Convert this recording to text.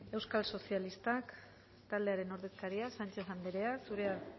euskal sozialistak taldearen ordezkaria sánchez anderea zurea